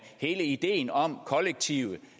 hele ideen om kollektive